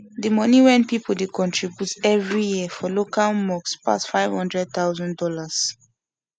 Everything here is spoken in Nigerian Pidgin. d moni wen pipu d contribute everi year for local mosques pass five hundred thousand dollas